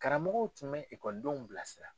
Karamɔgɔw tun bɛ bilasira.